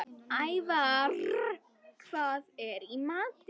Ævarr, hvað er í matinn?